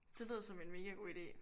Det lyder som en mega god idé